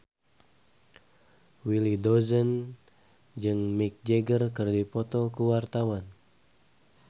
Willy Dozan jeung Mick Jagger keur dipoto ku wartawan